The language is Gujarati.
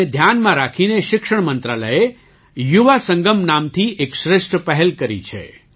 તેને ધ્યાનમાં રાખીને શિક્ષણ મંત્રાલયે યુવા સંગમ નામથી એક શ્રેષ્ઠ પહેલ કરી છે